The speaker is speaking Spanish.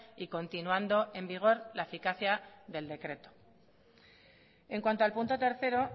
y continuando en vigor la eficacia del decreto en cuanto al punto tercero